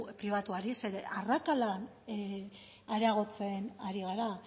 pribatuari zeren arrakala areagotzen ari gara